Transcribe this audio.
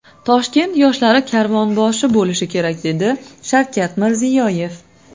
Toshkent yoshlari karvonboshi bo‘lishi kerak”, dedi Shavkat Mirziyoyev.